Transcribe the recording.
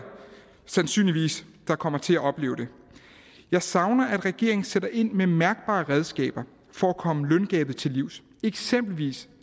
sandsynligvis der kommer til at opleve det jeg savner at regeringen sætter ind med mærkbare redskaber for at komme løngabet til livs eksempelvis